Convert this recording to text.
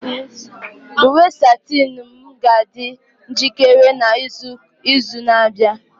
Uwe satinu m ga-adị njikere n'izu na-abịa.